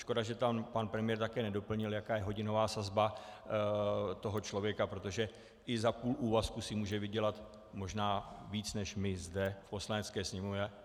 Škoda, že tam pan premiér také nedoplnil, jaká je hodinová sazba toho člověka, protože i za půl úvazku si může vydělat možná víc než my zde v Poslanecké sněmovně.